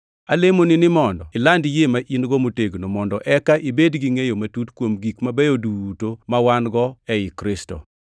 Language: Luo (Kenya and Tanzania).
Alemoni ni mondo iland yie ma in-go motegno, mondo eka ibed gi ngʼeyo matut kuom gik mabeyo duto ma wan-go ei Kristo.